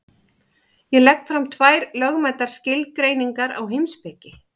Ég legg fram tvær lögmætar skilgreiningar á heimspeki.